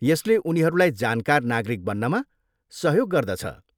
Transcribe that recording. यसले उनीहरूलाई जानकार नागरिक बन्नमा सहयोग गर्दछ।